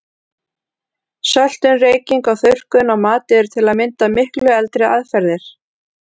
Söltun, reyking og þurrkun á mat eru til að mynda miklu eldri aðferðir.